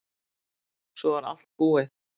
Svo var allt búið.